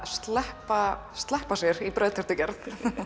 sleppa sleppa sér í brauðtertugerð